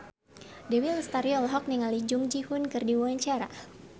Dewi Lestari olohok ningali Jung Ji Hoon keur diwawancara